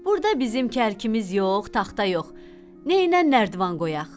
Burda bizim kərkimiz yox, taxta yox, nəynən nərdiban qoyaq?